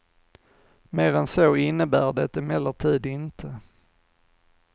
Mer än så innebär det emellertid inte.